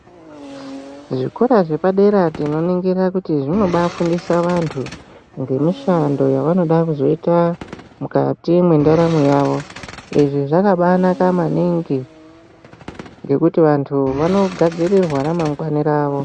Zvikora zvepadera tinoningira kuti zvinobaifundisa vantu ngemishanda yavanoda zoita mukati mwendaramo yavo izvi zvakabainaka maningi kungeti vantu vanogadzirirwa ramangwani ravo.